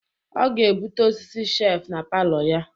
Ọ ga-ebute ọsịsị shef na palọ ya.